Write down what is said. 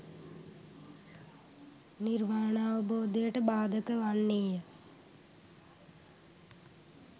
නිර්වාණාවබෝධයට බාධක වන්නේය.